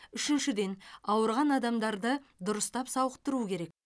үшіншіден ауырған адамдарды дұрыстап сауықтыру керек